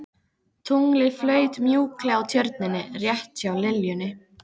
Tunglið flaut mjúklega á Tjörninni rétt hjá liljunni.